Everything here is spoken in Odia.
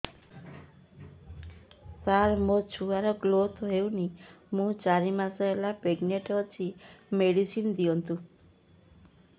ସାର ମୋର ଛୁଆ ର ଗ୍ରୋଥ ହଉନି ମୁ ଚାରି ମାସ ପ୍ରେଗନାଂଟ ଅଛି ମେଡିସିନ ଦିଅନ୍ତୁ